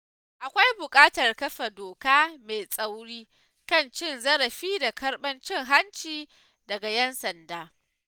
Akwai buƙatar kafa doka mai tsauri kan cin zarafi da karbar cin-hanci daga 'yan sanda.